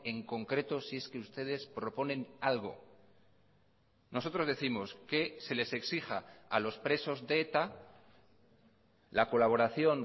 en concreto si es que ustedes proponen algo nosotros décimos que se les exija a los presos de eta la colaboración